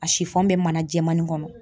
A sifɔn bɛ mana jɛman nin kɔnɔ.